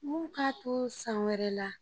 N k'a to san wɛrɛ la